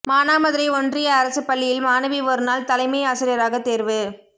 மானாமதுரை ஒன்றிய அரசுப் பள்ளியில் மாணவி ஒருநாள் தலைமை ஆசிரியராகத் தோ்வு